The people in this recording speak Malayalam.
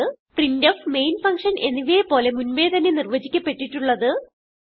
പ്രിന്റ്ഫ് മെയിൻ ഫങ്ഷൻ എന്നിവയെ പോലെ മുൻപേ തന്നെ നിർവചിക്കപ്പെട്ടിട്ടുള്ളത്